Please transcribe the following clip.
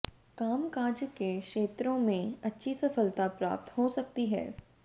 कामकाज के क्षेत्रों में अच्छी सफलता प्राप्त हो सकती है